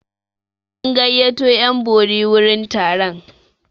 An gayyato 'yan bori wurin taron.